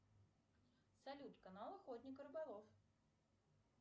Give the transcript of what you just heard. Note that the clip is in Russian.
салют канал охотник и рыболов